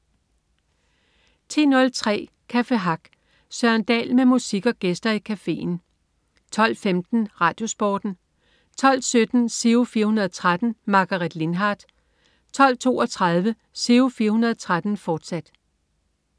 10.03 Café Hack. Søren Dahl med musik og gæster i cafeen 12.15 RadioSporten 12.17 Giro 413. Margaret Lindhardt 12.32 Giro 413, fortsat